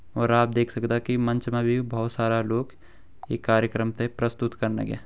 और आप देख सकदा कि मंच मा भि भोत सारा लोग ये कार्यक्रम ते प्रस्तुत कन लग्यां।